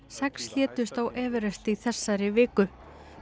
sex létust á Everest í þessari viku